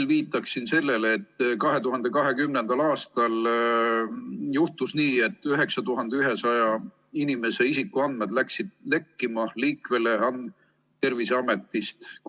Ma viitan veel sellele, et 2020. aastal juhtus nii, et 9100 inimese isikuandmed lekkisid Terviseametist.